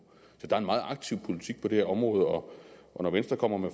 så der er en meget aktiv politik på det her område og når venstre kommer med